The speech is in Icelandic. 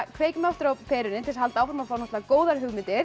kveikjum aftur á perunni til þess að halda áfram að fá góðar hugmyndir